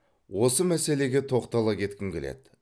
осы мәселеге тоқтала кеткім келеді